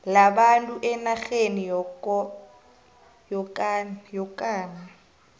labantu enarheni yokana